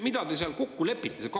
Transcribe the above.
Mida te seal kokku lepite?